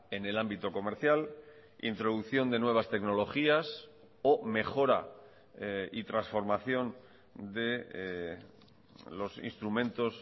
en el ámbito comercial introducción de nuevas tecnologías o mejora y transformación de los instrumentos